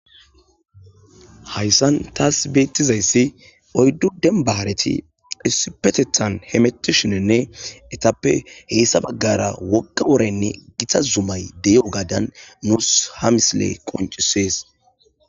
Hayssan taas beettizayssi oyddu dembahareti isipetethan hemetishinenne etappe heessa baggara woqa woraynne gita zumay dey'o gaadan nuus ha mislee qoncisees